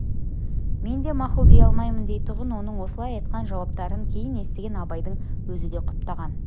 мен де мақұл дей алмаймын дейтұғын оның осылай айтқан жауаптарын кейін естіген абайдың өзі де құптаған